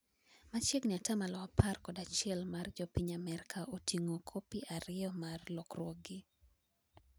machiegni atamalo apar kod achiel mar jo piny Amerka oting'o kopi ariyo mar lokruogni